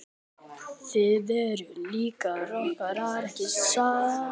Þið eruð líka rokkarar ekki satt?